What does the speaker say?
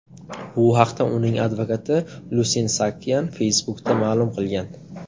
Bu haqda uning advokati Lusine Saakyan Facebook’da ma’lum qilgan.